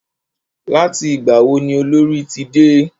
Láti ìgbà wo ni Olorì ti dé?